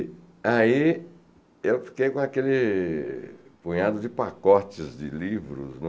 aí eu fiquei com aquele punhado de pacotes de livros, né?